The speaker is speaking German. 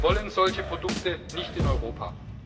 Wir wollen solche Produkte nicht in Europa.